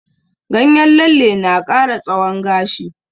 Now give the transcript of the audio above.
Ganyen lalle na ƙara tsawon gashi.